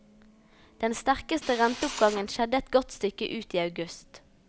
Den sterkeste renteoppgangen skjedde et godt stykke ut i august.